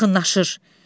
Yaxınlaşır.